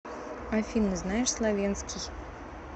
афина знаешь словенский